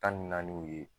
Tan ni naaniw ye